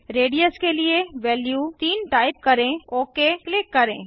radius के लिए value 3 type करें ओक क्लिक करें